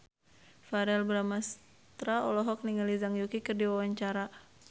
Verrell Bramastra olohok ningali Zhang Yuqi keur diwawancara